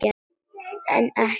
En ekki.